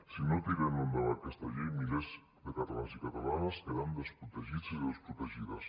si no tirem endavant aquesta llei milers de catalans i catalanes quedaran desprotegits i desprotegides